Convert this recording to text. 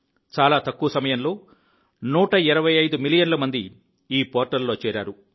చాలా తక్కువ సమయంలో 125 మిలియన్ల మంది ఈ పోర్టల్లో చేరారు